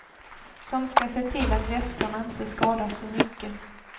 Som ska se till att väskorna inte skadas så mycket.